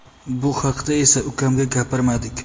Bu haqda esa ukamga gapirmadik.